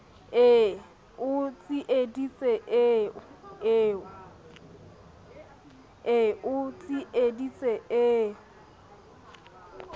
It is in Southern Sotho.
e o tsieditse e o